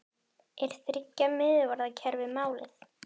Er þriggja miðvarða kerfi málið?